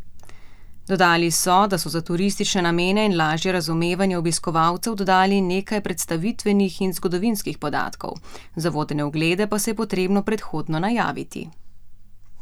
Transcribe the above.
Dodali so, da so za turistične namene in lažje razumevanje obiskovalcev dodali nekaj predstavitvenih in zgodovinskih podatkov, za vodene oglede pa se je potrebno predhodno najaviti.